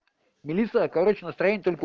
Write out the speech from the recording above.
мелисса короче настроение только